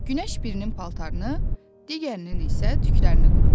Günəş birinin paltarını, digərinin isə tüklərini qurutdu.